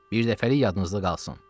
Birdəfəlik yadınızda qalsın.